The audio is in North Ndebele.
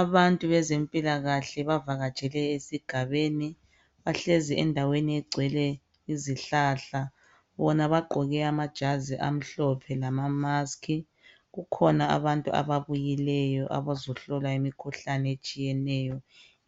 Abntu bezempilakahle bavakatshele esigabeni. Bahlezi endaweni egcwele izihlahla. Bona bagqoke amajazi amhlophe lamamaskhi. Kukhona abantu ababuyileyo abazohlolwa imikhuhlane etshiyeneyo,